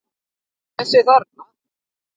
Þessa þarna!